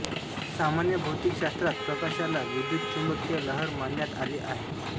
सामान्य भौतिकशास्त्रात प्रकाशाला विद्युच्चुंबकीय लहर मानण्यात आले आहे